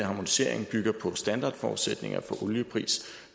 harmoniseringen bygger på standardforudsætninger for oliepris